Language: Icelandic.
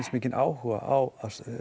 mikinn áhuga á